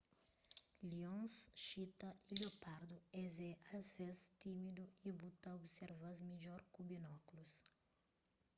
lions xitas y liopardus es é asvês tímidu y bu ta observa-s midjor ku binókulus